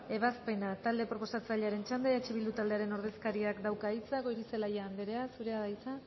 ebazpena talde proposatzailearen txanda eh bildu taldearen ordezkariak dauka hitza goirizelaia anderea zurea da hitza